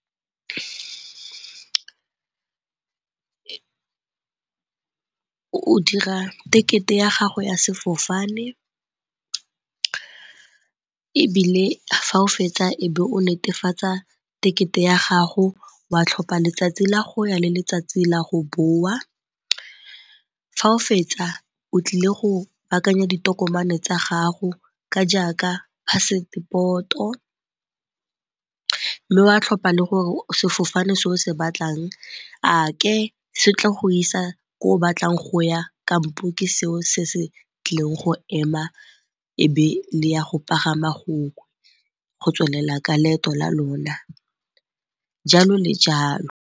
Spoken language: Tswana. O dira tekete ya gago ya sefofane ebile fa o fetsa e be o netefatsa tekete ya gago wa tlhopha letsatsi la go ya le letsatsi la go boa, fa o fetsa o tlile go baakanya ditokomane tsa gago ka jaaka phasepoto mme wa tlhopha le gore sefofane se o se batlang a se tlo go isa ko o batlang go ya kampo ke seo se se tlileng go ema e be le ya go pagama go tswelela ka leeto la lona, jalo le jalo.